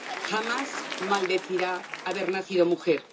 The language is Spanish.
Jamás maldecirá haber nacido mujer.